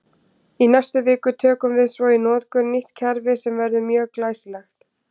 Í næstu viku tökum við svo í notkun nýtt kerfi sem verður mjög glæsilegt!